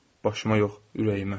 Başıma yox, ürəyimə.